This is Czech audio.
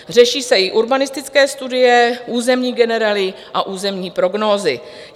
Řeší se i urbanistické studie, územní generely a územní prognózy.